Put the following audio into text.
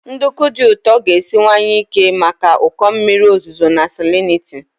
Nduku dị ụtọ ga-esiwanye ike maka ụkọ mmiri ozuzo na salinity.